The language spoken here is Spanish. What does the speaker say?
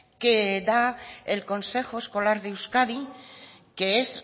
que da el consejo escolar de euskadi que es